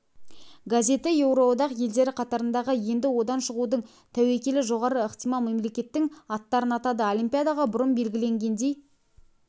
газеті еуроодақ елдері қатарындағы енді одан шығудың тәуекелі жоғары ықтимал мемлекеттің аттарын атады олимпиадаға бұрын белгіленгендей